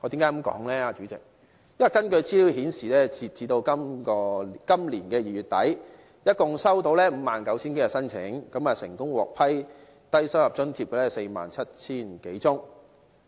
因為根據資料顯示，截至今年2月底，一共收到 59,000 多宗申請，成功獲批低收入在職家庭津貼的，有 47,000 多宗。